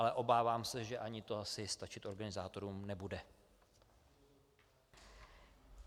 Ale obávám se, že ani to asi stačit organizátorům nebude.